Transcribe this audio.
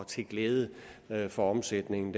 til glæde for omsætningen